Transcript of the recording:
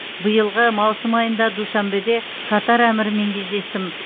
биылғы маусым айында душанбеде катар әмірімен кездестім